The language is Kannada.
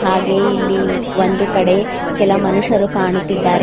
ಹಾಗೆ ಇಲ್ಲಿ ಒಂದು ಕಡೆ ಕೆಲ ಮನುಷ್ಯರು ಕಾಣುತ್ತಿದ್ದಾರೆ.